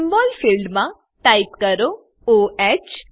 symbol field માં type કરો o હ